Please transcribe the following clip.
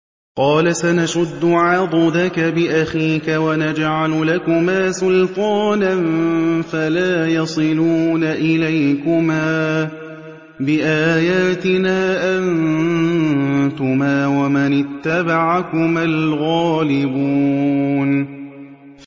قَالَ سَنَشُدُّ عَضُدَكَ بِأَخِيكَ وَنَجْعَلُ لَكُمَا سُلْطَانًا فَلَا يَصِلُونَ إِلَيْكُمَا ۚ بِآيَاتِنَا أَنتُمَا وَمَنِ اتَّبَعَكُمَا الْغَالِبُونَ